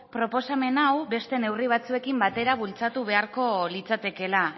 proposamen hau beste neurri batzuekin batera bultzatu beharko litzatekeela